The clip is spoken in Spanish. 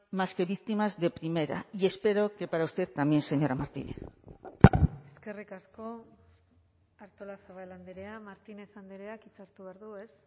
más que víctimas de primera y espero que para usted también señora martínez eskerrik asko artolazabal andrea martínez andreak hitza hartu behar du ez